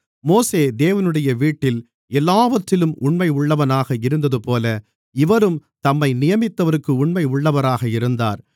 மோசே தேவனுடைய வீட்டில் எல்லாவற்றிலும் உண்மையுள்ளவனாக இருந்ததுபோல இவரும் தம்மை நியமித்தவருக்கு உண்மையுள்ளவராக இருந்தார்